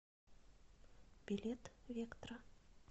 билет вектра